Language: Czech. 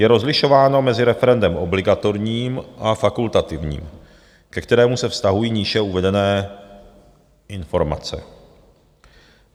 Je rozlišováno mezi referendem obligatorním a fakultativním, ke kterému se vztahují níže uvedené informace.